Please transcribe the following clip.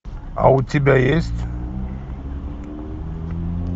а у тебя есть